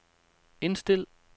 indstil